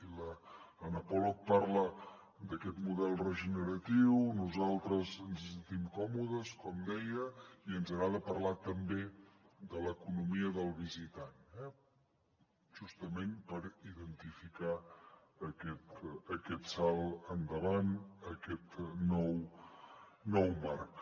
i l’anna pollock parla d’aquest model regeneratiu nosaltres ens hi sentim còmodes com deia i ens agrada parlar també de l’economia del visitant justament per identificar aquest salt endavant aquest nou marc